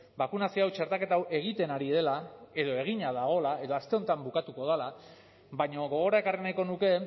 bakunazio hau txertaketa hau egiten ari dela edo egina dagoela edo aste honetan bukatuko dela baina gogora ekarri nahiko nuke